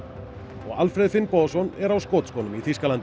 og Alfreð Finnbogason er á skotskónum í Þýskalandi